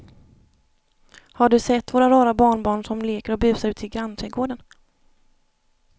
Har du sett våra rara barnbarn som leker och busar ute i grannträdgården!